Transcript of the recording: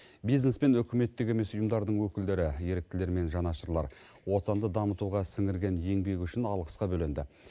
бизнес пен үкіметтік емес ұйымдардың өкілдері еріктілер мен жанашырлар отанды дамытуға сіңірген еңбегі үшін алғысқа бөленді